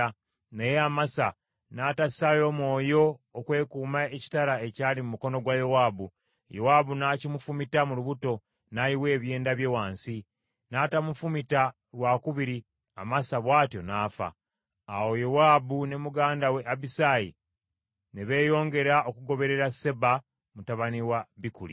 Naye Amasa n’atassaayo mwoyo okwekuuma ekitala ekyali mu mukono gwa Yowaabu; Yowaabu n’akimufumita mu lubuto, n’ayiwa ebyenda bye wansi. N’atamufumita lwakubiri, Amasa bw’atyo n’afa. Awo Yowaabu ne muganda we Abisaayi ne beeyongera okugoberera Seba mutabani wa Bikuli.